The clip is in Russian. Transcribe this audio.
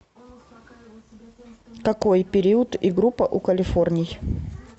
какой период и группа у калифорний